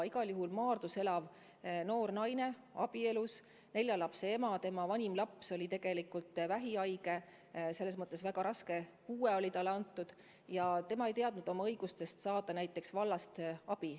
Aga üks Maardus elav noor naine, kes on abielus ja nelja lapse ema ja kelle vanim laps on vähihaige ning selles mõttes väga raske puudega, ei teadnud oma õigusest saada vallast abi.